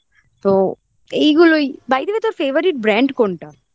তো এইগুলোই by the way তোর favourite brand কোনটা জামাকাপড়ের